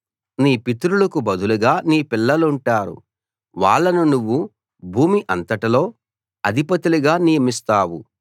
నీ పితరులకు బదులుగా నీ పిల్లలుంటారు వాళ్ళను నువ్వు భూమి అంతట్లో అధిపతులుగా నియమిస్తావు